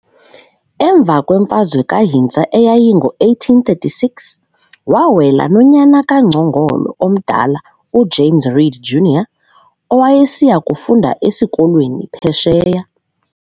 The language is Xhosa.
Emva kwemfazwe kaHintsa eyayingo-1836, waawela nonyana kaNgcongolo omdala, uJames Read Junr., owayesiya kufunda esikolweni Phesheya.